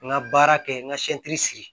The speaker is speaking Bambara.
N ka baara kɛ n ka sigi